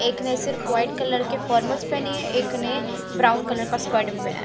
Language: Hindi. एक ने सिर्फ व्हाइट कलर के फॉर्मल्स पेहनी है एक ने ब्राउन कलर का स्कर्ट भी पेहना है।